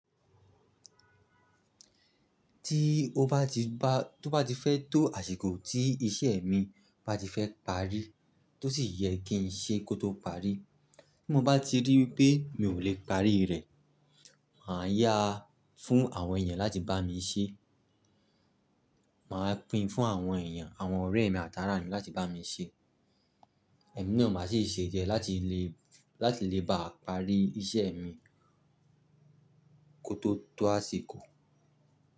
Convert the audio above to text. Tí ó bá ti ba tó bá ti fẹ́ tó àsìkò tí iṣẹ́ mi bá ti fẹ́ parí, tó sì yẹ kí n ṣe kó tó parí. Bí mo bá ti rí wipé mi ò lè parí rẹ̀, màá yá fún àwọn èèyàn láti bá mi ṣe. Màá pín fún àwọn èèyàn, àwọn ọ̀rẹ́ mi àtàrà mi láti bá mi ṣe. Ẹ̀mí náà máa sì ṣe jẹ láti lè, láti lè bá parí iṣẹ́ mi kó tó tó àsìkò.